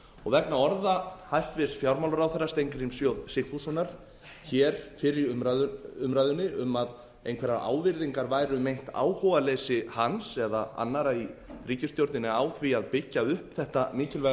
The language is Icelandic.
sparisjóðanna vegna orða hæstvirts fjármálaráðherra steingríms j sigfússonar hér fyrr í umræðunni um að einhverjar ávirðingar væru um meint áhugaleysi hans eða annarra í ríkisstjórninni á því að byggja upp þetta mikilvæga